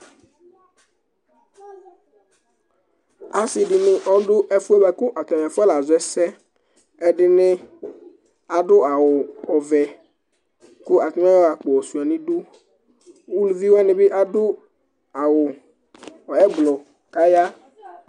ɔsi dɩnɩ ɔdʊ ɛfu yɛ bua kʊ afɔna zɔ ɛsɛ, ɛdɩnɩ adʊ awuvɛ, kʊ atanɩ asuia akpo nʊ idu, eluviwanɩ ta adʊ awu blu kaya